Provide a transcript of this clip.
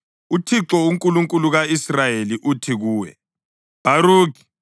“UThixo, uNkulunkulu ka-Israyeli, uthi kuwe, Bharukhi: